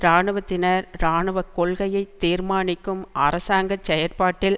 இராணுவத்தினர் இராணுவ கொள்கையை தீர்மானிக்கும் அரசாங்க செயற்பாட்டில்